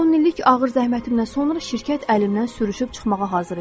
On illik ağır zəhmətimdən sonra şirkət əlimdən sürüşüb çıxmağa hazır idi.